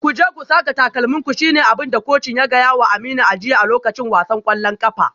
Ku je ku saka takalminku shi ne abin da kocin ya gaya wa Aminu a jiya a lokacin wasan kwallon kafa.